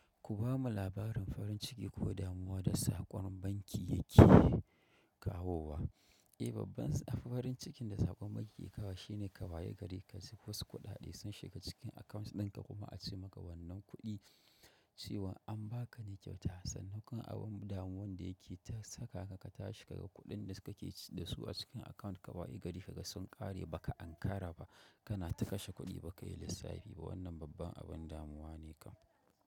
Ku bamu labarin farin ciki ko damuwa da saƙon banki yake kawowa. Eh, babban farin cikin da saƙon banki kawai shine ka wa ye gari ka ji wasu kuɗaɗe sun shiga cikin account ɗinka kuma a ce maka wannan kuɗi cewa an ba ka ne kyau ta. Sannan kuma abun damuwan da yake ta saka ka, ka tashi ka ga kuɗin da kake da su a cikin account ka wa yi gari ka ga sun ƙare ba ka an kara ba. Kana ta kashe kuɗi ba ka yi lissafi ba. Wannan babban abin damuwa ne kam.